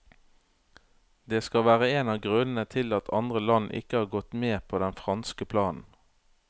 Det skal være en av grunnene til at andre land ikke har gått med på den franske planen.